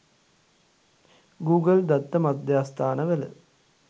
Google දත්ත මධ්‍යස්ථාන වල